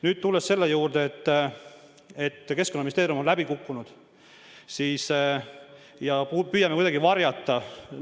Nüüd tulen väite juurde, et Keskkonnaministeerium on läbi kukkunud ja me püüame kuidagi midagi varjata.